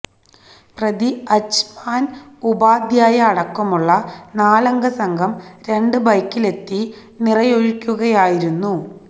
പ്രതി അജ്മാൻ ഉപാധ്യായ അടക്കമുള്ള നാലംഗ സംഘം രണ്ട് ബൈക്കിലെത്തി നിറയൊഴിക്കുകയായിരുന്നു